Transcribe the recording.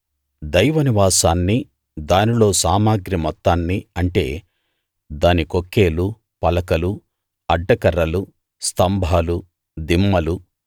దైవ నివాసాన్ని దానిలో సామగ్రి మొత్తాన్నీ అంటే దాని కొక్కేలు పలకలు అడ్డకర్రలు స్తంభాలు దిమ్మలు